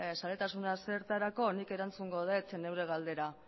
zaletasuna zertarako nik erantzungo dut nire galdera